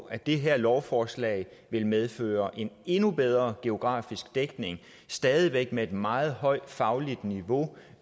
at det her lovforslag vil medføre en endnu bedre geografisk dækning og stadig væk med et meget højt fagligt niveau